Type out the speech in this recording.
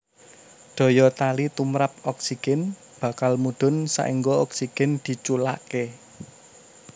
Daya tali tumrap oksigen bakal mudhun saéngga oksigen diculaké